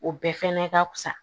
O bɛɛ fɛnɛ ka fusa